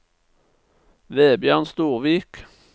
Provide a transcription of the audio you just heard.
Vebjørn Storvik